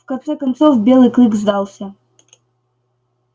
в конце концов белый клык сдался